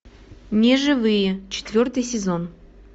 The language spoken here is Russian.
неживые четвертый сезон